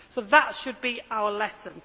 So that should be our lesson.